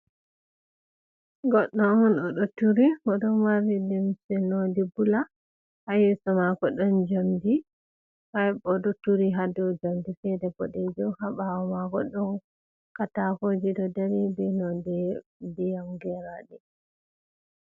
Goɗɗo on, o ɗo turi bo ɗon mari limse nonde bula, haa yeeso maako ɗon njamndi, haa o ɗo turi haa dow njamndi feere boɗeejum, haa ɓaawo maako ɗon kataakooji ɗo darindiri, nonde ndiyam geeraaɗe.